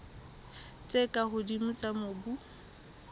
tse ka hodimo tsa mobu